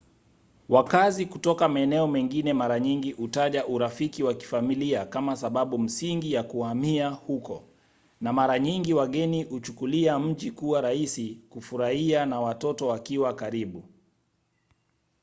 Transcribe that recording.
wakazi kutoka maeneo mengine mara nyingi hutaja urafiki wa kifamilia kama sababu msingi ya kuhamia huko na mara nyingi wageni huchukulia mji kuwa rahisi kufurahia na watoto wakiwa karibu